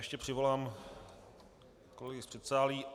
Ještě přivolám kolegy z předsálí.